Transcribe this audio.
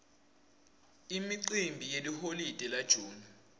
imicimbi yeliholide la june